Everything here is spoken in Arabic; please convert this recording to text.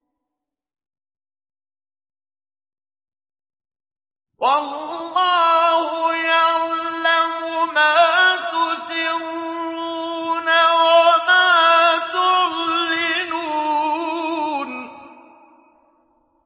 وَاللَّهُ يَعْلَمُ مَا تُسِرُّونَ وَمَا تُعْلِنُونَ